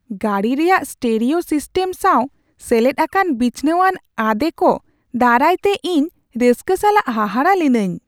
ᱜᱟᱹᱰᱤ ᱨᱮᱭᱟᱜ stereo system ᱥᱟᱶ ᱥᱮᱞᱮᱫ ᱟᱠᱟᱱ ᱵᱤᱪᱷᱱᱟᱹᱣᱟᱱ ᱟᱸᱫᱮ ᱠᱚ ᱫᱟᱨᱟᱭᱛᱮ ᱤᱧ ᱨᱟᱹᱥᱠᱟᱹ ᱥᱟᱞᱟᱜ ᱦᱟᱦᱟᱲᱟᱜ ᱞᱤᱱᱟᱹᱧ ᱾